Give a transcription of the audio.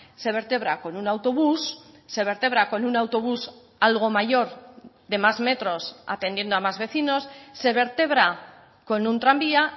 se vertebra con un autobús se vertebra con un autobús algo mayor de más metros atendiendo a más vecinos se vertebra con un tranvía